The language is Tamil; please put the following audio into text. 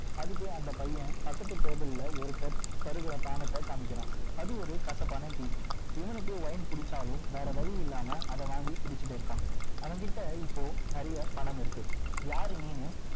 அதுக்கு அந்த பையன் பகத்து table ல ஒருத்தர் பருகிற பானத்தை காமிக்கிறான் அது இரு கசப்பான டீ இவனுக்கு wine பிடிச்சாலும் வேற வழி இல்லாம அதை வாங்கி குடிச்சிட்டு இருக்கிறான் அவங்கிட்ட இப்போ நிறைய பணம் இருக்கு யாரு நீன்னு